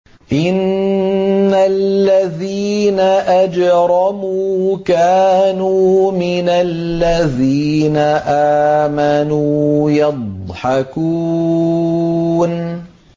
إِنَّ الَّذِينَ أَجْرَمُوا كَانُوا مِنَ الَّذِينَ آمَنُوا يَضْحَكُونَ